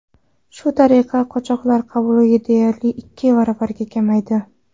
Shu tariqa, qochoqlar qabuli deyarli ikki baravarga kamaydi.